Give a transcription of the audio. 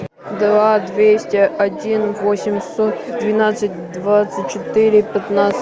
два двести один восемьсот двенадцать двадцать четыре пятнадцать